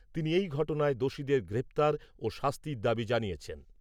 তিনি এই ঘটনায় দোষীদের গ্রেপ্তার ও শাস্তির দাবী জানিয়েছেন ।